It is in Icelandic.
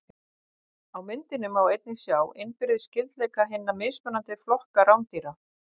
Á myndinni má einnig sjá innbyrðis skyldleika hinna mismunandi flokka rándýra.